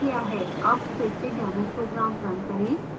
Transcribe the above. अब फिर से demo program now करें